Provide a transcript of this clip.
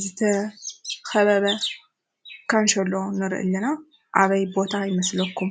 ዝተኸበበ ካንሾሎ ንሪኢ አለና። አበይ ቦታ ይመስለኩም?